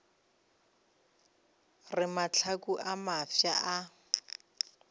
re mahlaku a mafsa a